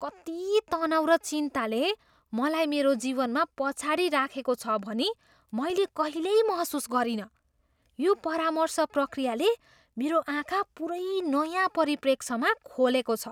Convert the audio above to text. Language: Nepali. कति तनाउ र चिन्ताले मलाई मेरो जीवनमा पछाडि राखेको छ भनी मैले कहिल्यै महसुस गरिनँ। यो परामर्श प्रक्रियाले मेरो आँखा पुरै नयाँ परिप्रेक्ष्यमा खोलेको छ!